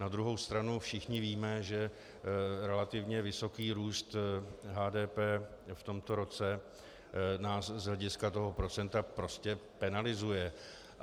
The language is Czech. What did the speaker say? Na druhou stranu všichni víme, že relativně vysoký růst HDP v tomto roce nás z hlediska toho procenta prostě penalizuje.